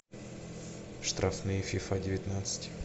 штрафные фифа девятнадцать